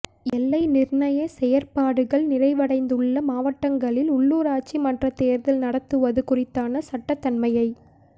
எல்லை நிர்ணய செயற்பாடுகள் நிறைவடைந்துள்ள மாவட்டங்களில் உள்ளூராட்சி மன்றத் தேர்தலை நடத்துவது குறித்தான சட்டத்தன்மையை